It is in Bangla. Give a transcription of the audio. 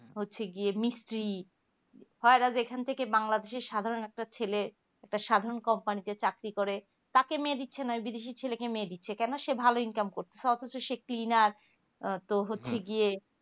হচ্ছে গিয়ে মিস্ত্রী হয় এরা banglades এর সাধারণ একটা ছেলে একটা সাধারণ একটা কোম্পানিতে চাকরি করে তাকে মেয়ে দিচ্ছে না বিদেশের ছেলেদেরকে মেয়ে দিচ্ছে কোনো সে ভালো income করছে অথচ সে একটা clenar আহ তো হচ্ছে গিয়ে